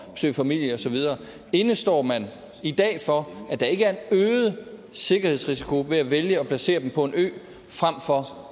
opsøge familie og så videre indestår man i dag for at der ikke er en øget sikkerhedsrisiko ved at vælge at placere dem på en ø fremfor